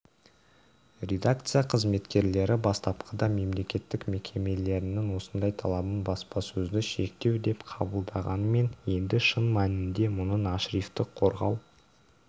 редакция қызметкерлері бастапқыда мемлекеттік мекемелерінің осындай талабын баспасөзді шектеу деп қабылдағанымен енді шын мәнінде мұның ашрифті қорғау